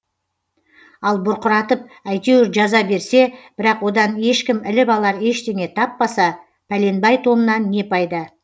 ал бұрқыратып әйтеуір жаза берсе бірақ одан ешкім іліп алар ештеңе таппаса пәленбай томнан не пайда